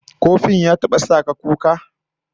Ko fim ya taba sa ka kuka?